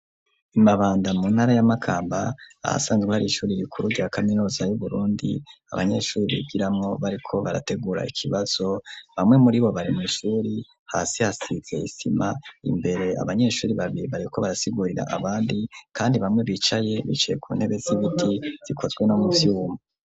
I Mabanda mu ntara ya Makamba, ahasanzwe hari ishuri rikuru rya kaminuza y'Uburundi, abanyeshuri bigiramwo bariko barategura ikibazo, bamwe muri bo bari mw'ishuri, hasi hasize isima, imbere abanyeshuri babiri bariko barasigurira abandi, kandi bamwe bicaye, bicaye ku ntebe zibiti zikozwe no mu vyuma.